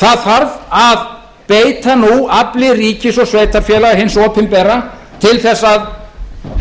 það þarf að beita nú afli ríkis og sveitarfélaga hins opinbera til þess að